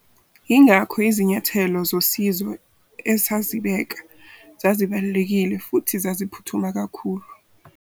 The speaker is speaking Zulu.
Yingakho izinyathelo zosizo esazibeka zazibalulekile futhi zaziphuthuma kakhulu.